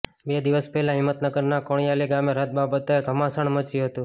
બે દિવસ પહેલા હિંમતનગરના કાણીયોલ ગામે રથ બાબતે ધમાસાણ મચ્યું હતું